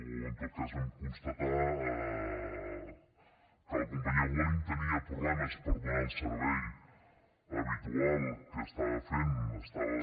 o en tot cas vam constatar que la companyia vueling tenia problemes per donar el servei habitual que estava fent estava